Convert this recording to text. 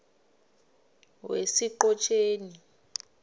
wesiqhotjeni